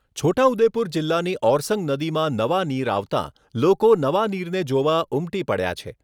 છોટાઉદેપુર જિલ્લાની ઓરસંગ નદીમાં નવા નીર આવતા લોકો નવા નીર જોવા ઉમટી પડ્યા છે.